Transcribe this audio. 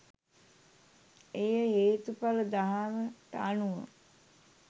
එය හේතුඵල දහමට අනුව